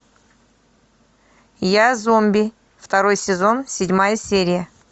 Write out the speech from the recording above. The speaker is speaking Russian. я зомби второй сезон седьмая серия